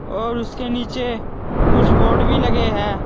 और उसके नीचे कुछ बोर्ड भी लगे है।